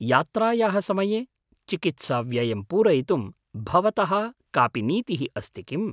यात्रायाः समये चिकित्साव्ययं पूरयितुं भवतः कापि नीतिः अस्ति किम्?